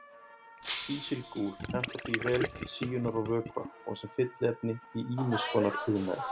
Kísilgúr hentar því vel til síunar á vökva og sem fylliefni í ýmis konar iðnaði.